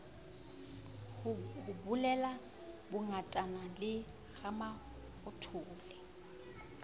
ho bulela bongatane le ramafothole